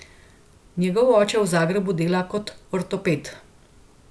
Njegov oče v Zagrebu dela kot ortoped.